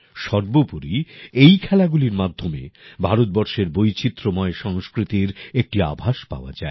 সর্বোপরি এই খেলাগুলির মাধ্যমে ভারতবর্ষের বৈচিত্রময় সংস্কৃতির একটি আভাস পাওয়া যায়